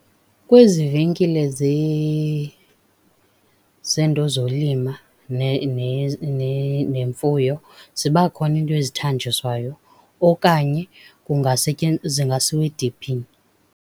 Kwezi venkile zeento zolima nemfuyo ziba khona iinto ezithanjiswayo okanye zingasiwa ediphini.